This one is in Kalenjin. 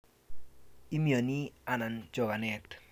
Imiani anan chokanet?